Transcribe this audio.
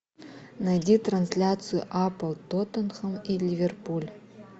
найди трансляцию апл тоттенхэм и ливерпуль